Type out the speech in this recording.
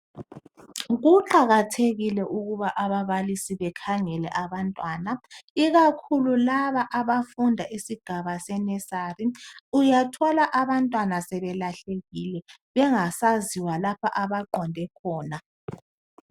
Kuqakathekile ukuba ababalisi bekhangele abantwana ikakhulu laba abafunda isigaba se nursery uyathola abantwana sebelahlekile bengasaziwa lapha abaqonde khona.